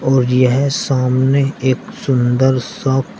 और यह सामने एक सुंदर सा--